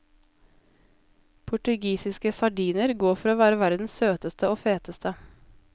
Portugisiske sardiner går for å være verdens søteste og feteste.